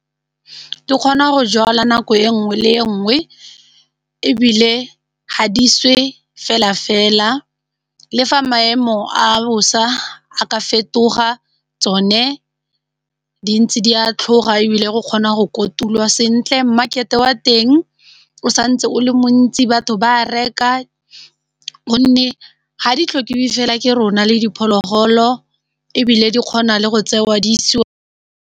Di kgona go jalwa nako e nngwe le nngwe ebile ha di swe fela-fela, le fa maemo a bosa a ka fetoga tsone di ntse di a tlhoga ebile go kgona go kotulwa sentle market-e wa teng o santse o le montsi batho ba reka gonne ga di tlhokiwe fela ke rona le diphologolo ebile di kgona le go tsewa di isiwa.